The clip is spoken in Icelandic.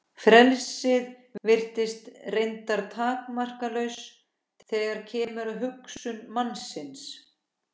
Frelsið virðist reyndar takmarkalaust þegar kemur að hugsun mannsins.